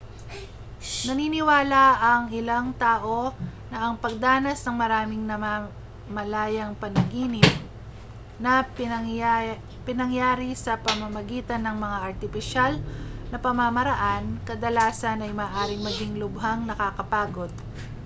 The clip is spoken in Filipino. naniniwala ang ilang tao na ang pagdanas ng maraming namamalayang panaginip na pinangyari sa pamamagitan ng mga artipisyal na pamamaraan kadalasan ay maaaring maging lubhang nakakapagod